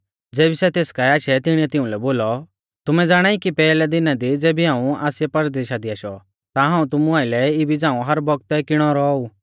ज़ेबी सै तेस काऐ आशै तिणीऐ तिउंलै बोलौ तुमै ज़ाणाई कि पैहलै दिना दी ज़ेबी हाऊं आसिया परदेशा दी आशौ ता हाऊं तुमु आइलै इबी झ़ाऊं हर बौगतै किणौ रौऔ ऊ